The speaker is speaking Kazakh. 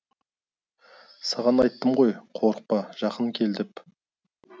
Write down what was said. саған айттым ғой қорықпа жақын кел деп